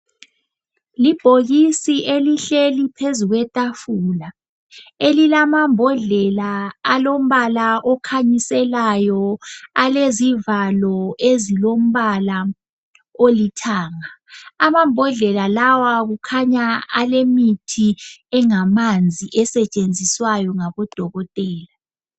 Iibhokisi elihleli phezu kwetafula. Elilamambodlela alombala okhanyisela alezivalo ezilombala olithanga. Amambodlela lawo kukakhanya alemithi engamanzi esentshenziswayo ngabodokotela.